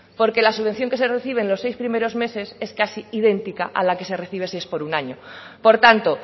porque la subvención que se reciben en los seis primeros meses es casi idéntica a la que se recibe si es por un año por tanto